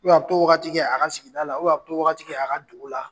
a bɛ t'o wagati kɛ a ka sigida la, a bɛ t'o wagati to a ka dugu la.